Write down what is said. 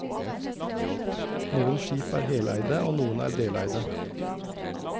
Noen skip er heleide og noen er deleide.